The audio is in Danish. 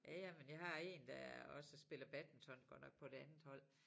Ja ja men jeg har én der også spiller badminton godt nok på et andet hold